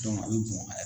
a bɛ bɔn a yɛrɛ